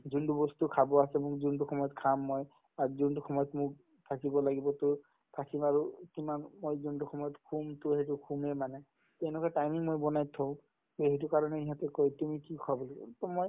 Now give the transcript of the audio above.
যোনতো বস্তু খাব আছে মোক যোনতো সময়ত খাম মই আৰু যোনতো সময়ত মোক থাকিব লাগিবতো থাকিম আৰু কিমান মই যোনতো সময়ত শুমতো সেইটো শুমে মানে তেনেকুৱা timing মই বনাই থও তে সেইটো কাৰণে ইহঁতে কই তুমি কি খোৱা বুলি তে মই